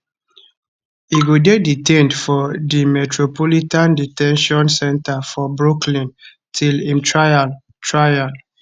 e go dey detained for di metropolitan de ten tion center for brooklyn till im trial trial